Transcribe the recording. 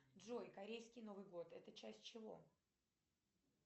джой корейский новый год это часть чего